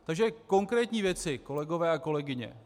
Takže konkrétní věci, kolegové a kolegyně.